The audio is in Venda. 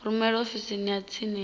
rumele ofisini ya tsini ya